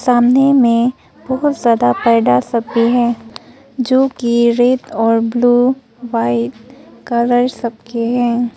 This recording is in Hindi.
सामने में बहुत ज्यादा पैडा सब भी हैं जो कि रेड ब्लू व्हाइट कलर सबके हैं।